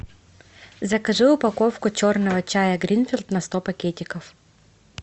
закажи упаковку черного чая гринфилд на сто пакетиков